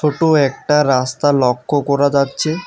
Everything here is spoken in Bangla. ছোটো একটা রাস্তা লক্ষ্য করা যাচ্ছে।